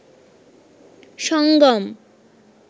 সঙ্গম